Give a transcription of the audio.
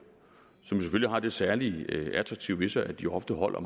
som jo selvfølgelig har det særlig attraktive ved sig at de ofte holder